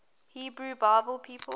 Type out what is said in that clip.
hebrew bible people